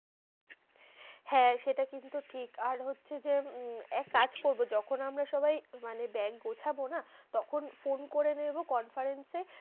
হ্যাঁ সেটা কিন্তু ঠিক, আর হচ্ছে যে এককাজ করবো যখন আমরা সবাই মানে ব্যাগ গুছাবো না তখন ফোন করে নেবো conference এ।